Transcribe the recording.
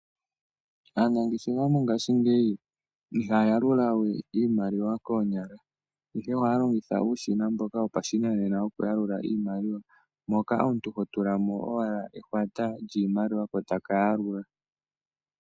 Aanangeshefa mongaashingeyi ihaya yalula we iimaliwa koonyala, ihe ohaya longitha uushina mboka wopashinanena woku yalula iimaliwa, moka omuntu ho tula mo owala ehwata lyiimaliwa ko taka yalula.